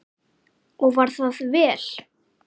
Og var það vel.